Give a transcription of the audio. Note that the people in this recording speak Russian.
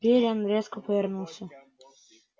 пиренн резко повернулся